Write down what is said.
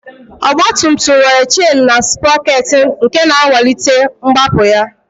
Ọgbatumtum nwere chen na sprọkeetị nke na-akwalite mgbapụ ya